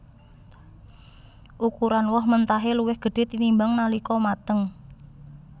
Ukuran woh mentahé luwih gedhé tinimbang nalika mateng